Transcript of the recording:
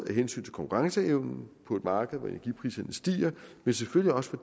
af hensyn til konkurrenceevnen på et marked hvor energipriserne stiger men selvfølgelig også for